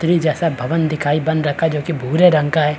छतरी जैसा भवन बन्न रखा है जो कि भूरे रंग का है।